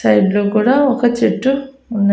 Side లో కూడా ఒక చెట్టు ఉన్న .